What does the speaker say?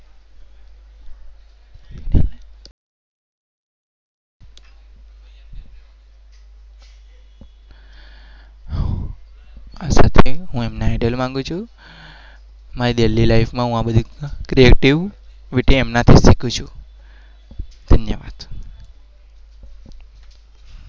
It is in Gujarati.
માંગુ છું.